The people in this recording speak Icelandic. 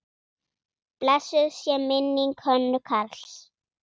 Blessuð sé minning Hönnu Karls.